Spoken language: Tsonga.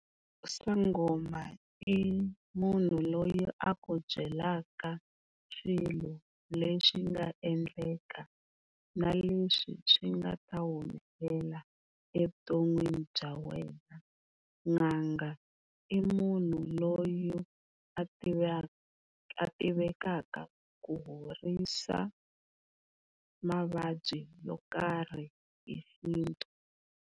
Sangoma i munhu loyi a ku byelaka swilo leswi nga endleka na leswi swi nga ta humelela evuton'wini bya wena, n'anga i munhu loyi a a tivekaka ku horisa mavabyi yo karhi hi xintu.